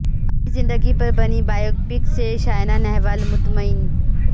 اپنی زندگی پر بنی بائیوپک سے سائنا نہوال مطمئن